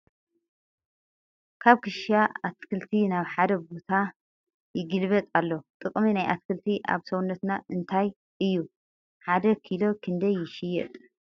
ካብ ክሻ ኣትክልቲ ናብ ሓደ ቦታ ይግልበጥ ኣሎ ። ጥቅሚ ናይ ኣትክልቲ ኣብ ሰውነትና እንታይ እዩ ን ሓደ ኪሎ ክንደይ ይሽየጥ ?